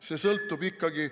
See sõltub ikkagi ...